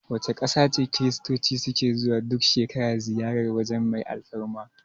Wace ƙasa ce Kiristoci su ke zuwa duk shekara ziyarar waje mai alfarma?